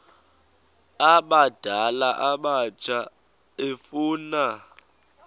abadala abatsha efuna